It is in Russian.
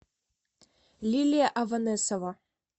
лилия аванесова